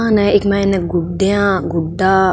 दुकान है इक माइन गुड़िया गुड्डा --